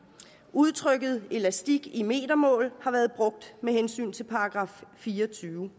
udtrykket elastik i metermål har været brugt med hensyn til § fire og tyve